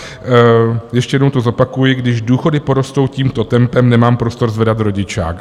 Ještě jednou to zopakuji, když důchody porostou tímto tempem, nemám prostor zvedat rodičák.